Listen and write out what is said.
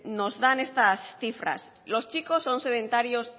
nos dan estas cifras los chicos son sedentarios